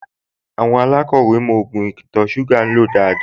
Àwọn alákọ̀wẹ́ mọ ògùn ìtọ̀-ṣúgà lò dáadáa